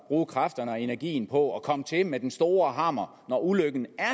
bruge kræfterne og energien på at komme til med den store hammer når ulykken